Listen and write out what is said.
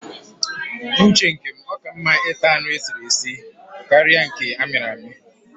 N'uche nke m, ọ ka mma ịta anụ esiri esi karịa nke amịrị amị